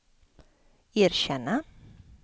erkänna